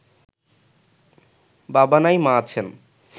বাবা নাই মা আছেন